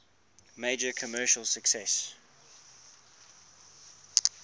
major commercial success